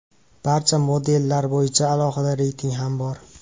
Barcha modellar bo‘yicha alohida reyting ham bor.